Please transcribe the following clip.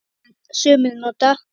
Sumir nota